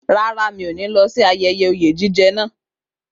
Rárá, mi ò ní lọ sí ayẹyẹ oyè jíjẹ náà